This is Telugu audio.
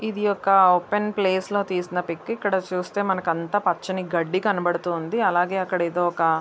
ఇది ఒక ఓపెన్ ప్లేస్ లో తీసిన పిక్ . ఇక్కడ చూస్తే మనకంత పచ్చని గడ్డి. అలాగే అక్కడ ఏదో ఒక--